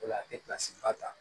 O la a tɛ ba ta